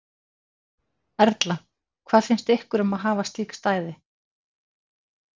Erla: Hvað finnst ykkur um að hafa slík stæði?